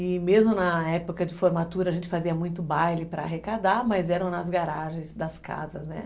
E mesmo na época de formatura a gente fazia muito baile para arrecadar, mas eram nas garagens das casas, né?